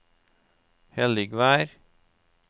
Helligvær